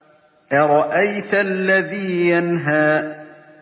أَرَأَيْتَ الَّذِي يَنْهَىٰ